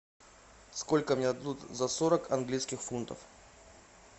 сколько мне дадут за сорок английских фунтов